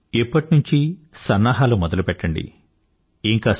మీరు ఇప్పటి నుందే తయారీ మొదలుపెట్టండి